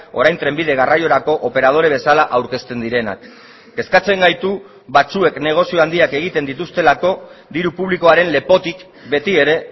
orain trenbide garraiorako operadore bezala aurkezten direnak kezkatzen gaitu batzuek negozio handiak egiten dituztelako diru publikoaren lepotik beti ere